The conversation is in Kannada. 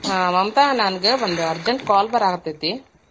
ಹಾ ಮಮತಾ ನನಗ ಒಂದ್ urgent call ಬರಾತೇತಿ.